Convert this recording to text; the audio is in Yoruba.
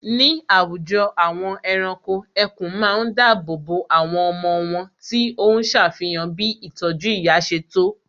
Ní àwùjọ àwọn ẹranko, ẹkùn ma ń dáàbò bo àwọn ọmọ wón tí óhún ṣàfihàn bí ìtọ́jú ìyá ṣe tó